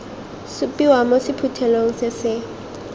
supiwa mo sephuthelong se se